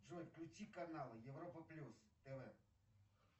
джой включи канал европа плюс тв